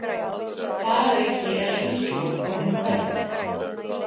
Þar að auki er sú slóð orðin köld.